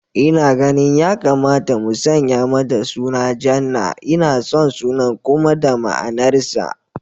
Ina ganin ya kamata mu sanya mata suna Jannah, ina son sunan kuma da ma'anar sa